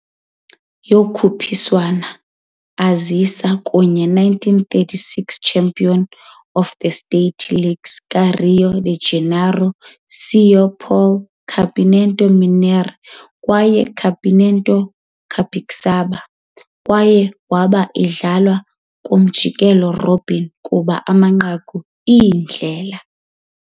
Yokhuphiswano azisa kunye 1936 champions of the state leagues ka - Rio de Janeiro, São Paulo, Campeonato Mineiro kwaye Campeonato Capixaba, kwaye waba idlalwe kwi-umjikelo-robin kuba amanqaku iindlela.